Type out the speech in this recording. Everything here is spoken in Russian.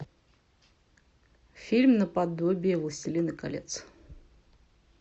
фильм наподобие властелина колец